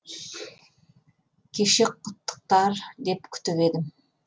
кеше құттықтар деп күтіп едім